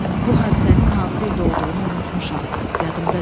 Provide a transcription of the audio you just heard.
Bu hadisənin hansı ildə olduğunu unutmuşam, yadımda deyil.